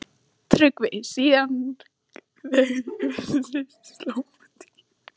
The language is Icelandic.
TRYGGVI: Síðast þegar ég vissi sló hún tíu.